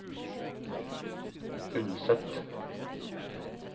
Unset